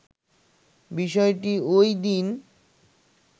বিষয়টি ওইদিন